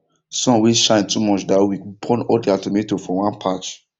sun wey shine too much that week burn all their tomato for one patch